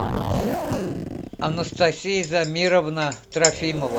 анастасия замировна трофимова